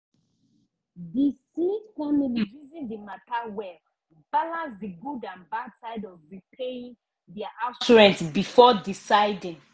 di smith family reason the matter well balance the good and bad side of repayin their house rent before deciding